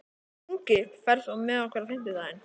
Ingi, ferð þú með okkur á fimmtudaginn?